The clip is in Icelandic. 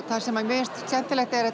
það sem mér finnst skemmtilegt er